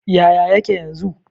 Yaya yake yanzu?